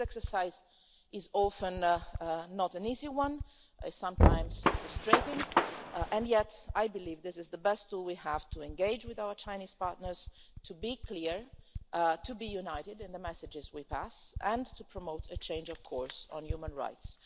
This exercise is often not an easy one it is sometimes frustrating, and yet I believe this is the best tool we have to engage with our Chinese partners, to be clear, to be united in the messages we pass, and to promote a change of course on human rights.